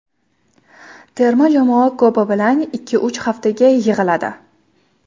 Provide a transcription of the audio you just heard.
Terma jamoa ko‘pi bilan ikkiuch haftaga yig‘iladi.